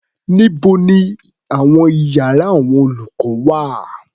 Níbo ni àwọn iyàrá àwọn olùkọ́ wà?